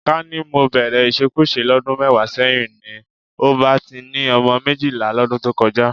Ká ní mo bẹ̀rẹ̀ ìṣekúṣe lọ́dún mẹ́wàá sẹ́yìn ni, n ò bá ti ni ọmọ méjìlá lọ́dún tó kọjá